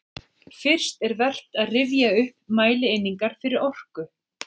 Fyrst er vert að rifja upp mælieiningar fyrir orku.